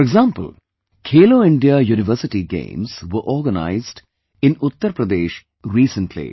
For example, Khelo India University Games were organized in Uttar Pradesh recently